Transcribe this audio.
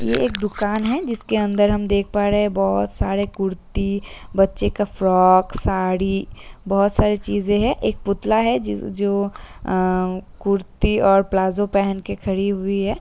ये एक दुकान है जिसके अंदर हम देख पा रहे बोहोत सारे कुर्ती बच्चे का फ्रॉक साड़ी बोहोत सारी चीजें हैं। एक पुतला है जीज़् जो अ कुर्ती और प्लाजो पहन के खड़ी हुई है।